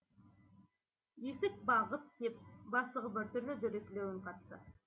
есік бағып деп бастығы біртүрлі дөрекілеу үн қатты